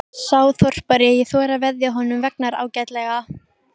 Sá þorpari: ég þori að veðja að honum vegnar ágætlega.